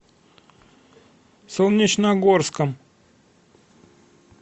солнечногорском